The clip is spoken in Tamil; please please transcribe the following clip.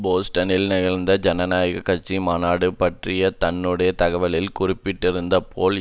போஸ்டனில் நிகழ்ந்த ஜனநாயக கட்சியின் மாநாடுபற்றி தன்னுடைய தகவலில் குறிப்பிட்டிருந்தது போல்